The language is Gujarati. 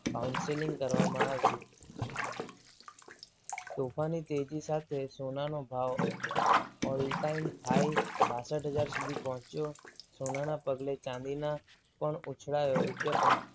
councelling કરવામાં આવ્યું. ચોખાની તેજી સાથે સોનાનો ભાવ all time high બાસઠ હજાર સુધી પહોંચ્યો સોનાના પગલે ચાંદીના પણ ઉછળયો રૂપિયા પંચ